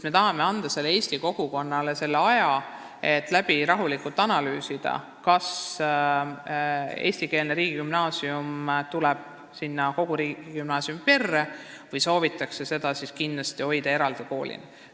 Me tahame anda sealsele eesti kogukonnale aega rahulikult läbi analüüsida, kas eestikeelne riigigümnaasium tuleb sinna ühisesse riigigümnaasiumi perre või soovitakse seda kindlasti hoida eraldi koolina.